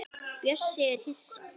Bjössi er hissa.